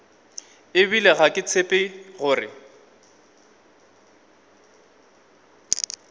ebile ga ke tshepe gore